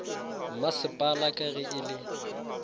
masepala ka ge e le